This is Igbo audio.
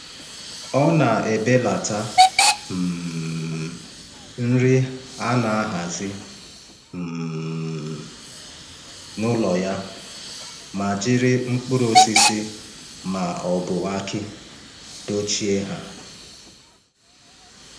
Ọ na-ebelata um nri a na-ahazi um n’ụlọ ya ma jiri mkpụrụ osisi ma ọ bụ akị dochie ha.